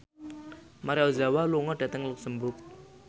Maria Ozawa lunga dhateng luxemburg